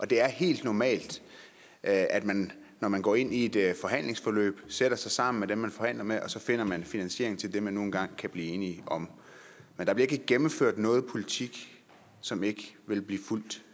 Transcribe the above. det er helt normalt at at man når man går ind i et et forhandlingsforløb sætter sig sammen med dem man forhandler med og så finder man finansiering til det man nu engang kan blive enige om men der bliver ikke gennemført noget politik som ikke vil blive fuldt